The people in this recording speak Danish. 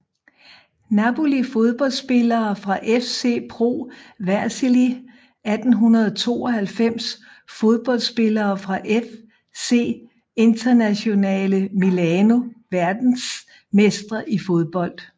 Napoli Fodboldspillere fra FC Pro Vercelli 1892 Fodboldspillere fra FC Internazionale Milano Verdensmestre i fodbold